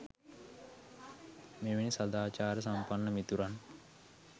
මෙවැනි සදාචාර සම්පන්න මිතුරන්